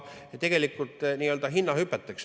Tegelikult on ka nii-öelda hinnahüpped.